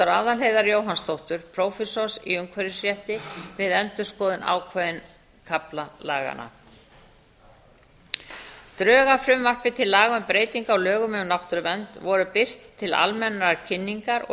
doktor aðalheiðar jóhannsdóttur prófessors í umhverfisrétti við endurskoðun ákveðinna kafla laganna drög að frumvarpi til laga um breytingu á lögum um náttúruvernd voru birt til almennrar kynningar og